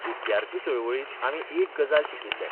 विद्यार्थी चळवळींत आमी एक गजाल शिकिल्ले.